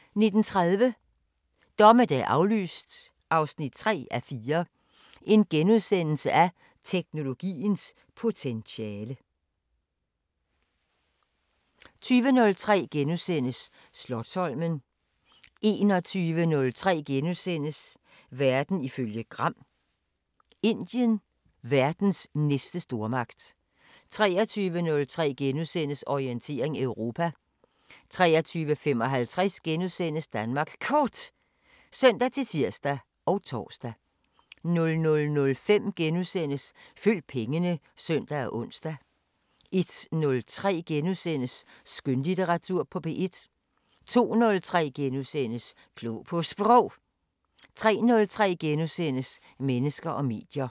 19:30: Dommedag aflyst 3:4 – Teknologiens potentiale * 20:03: Slotsholmen * 21:03: Tidsånd *(søn og tor) 22:03: Verden ifølge Gram: Indien – verdens næste stormagt * 23:03: Orientering Europa * 23:55: Danmark Kort *(søn-tir og tor) 00:05: Følg pengene *(søn og ons) 01:03: Skønlitteratur på P1 * 02:03: Klog på Sprog * 03:03: Mennesker og medier *